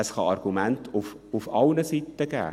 Es kann Argumente auf allen Seiten geben;